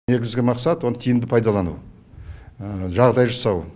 негізгі мақсат оны тиімді пайдалану жағдай жасау